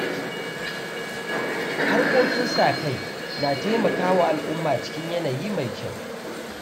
Harkokin sa-kai na taimaka wa al’umma cikin yanayi mai kyau.